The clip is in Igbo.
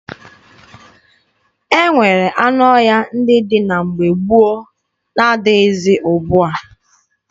E nwere anụ ọhịa ndị dị na mgbe gboo na-adịghịzi ugbua.